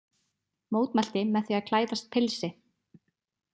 Mótmælti með því að klæðast pilsi